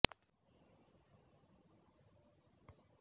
কাষৰ চকী খনত বহি চুলি কাটি থকা অৱস্থাত শুনা কথোপকথন